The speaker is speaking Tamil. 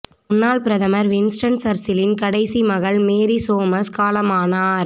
முன்னாள் பிரதமர் வின்ஸ்டன் சர்ச்சிலின் கடைசி மகள் மேரி சோமஸ் காலமானார்